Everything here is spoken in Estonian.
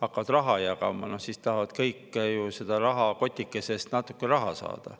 hakkab raha jagama – siis tahavad kõik ju rahakotikesest natukene saada.